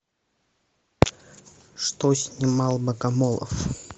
что снимал богомолов